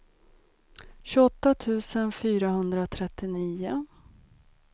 tjugoåtta tusen fyrahundratrettionio